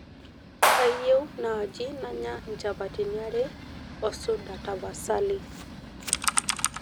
kayie naaji nanya inchapatini are oo suda tapasali